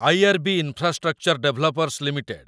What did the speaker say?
IRB. Infrastructure Developers limited